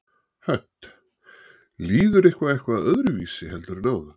Hödd: Líður ykkur eitthvað öðruvísi heldur en áðan?